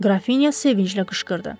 Qrafinya sevinclə qışqırdı.